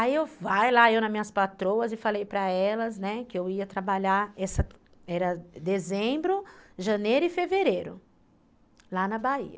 Aí eu, vai lá, eu nas minhas patroas e falei para elas, né, que eu ia trabalhar, era dezembro, janeiro e fevereiro, lá na Bahia.